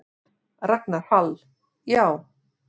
Ragnar Hall: Já.